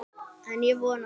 En ég vona það.